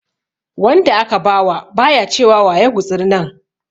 Wanda aka ba wa ba ya ce wa wa ya gutsuri nan.